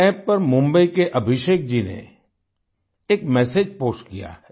NamoApp पर मुम्बई के अभिषेक जी ने एक मेसेज पोस्ट किया है